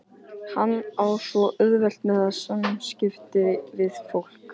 Hann á svo auðvelt með samskipti við fólk.